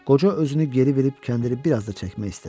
Qoca özünü geri verib kəndiri bir az da çəkmək istədi.